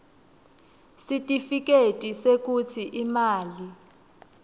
sitifiketi sekutsi imali